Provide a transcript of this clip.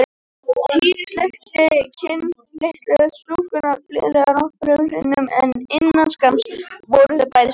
Týri sleikti kinn litlu stúlkunnar blíðlega nokkrum sinnum en innan skamms voru þau bæði sofnuð.